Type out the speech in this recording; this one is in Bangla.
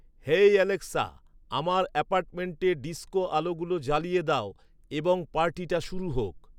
হেই অ্যালেক্সা আমার অ্যাপার্টমেন্টে ডিস্কো আলোগুলো জ্বালিয়ে দাও এবং পার্টিটা শুরু হোক